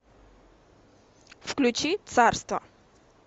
включи царство